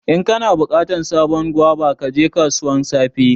In kana bukatan sabon guava, ka je kasuwan safe.